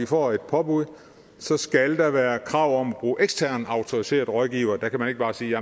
får et påbud skal der være krav om at bruge eksterne autoriserede rådgivere der kan man ikke bare sige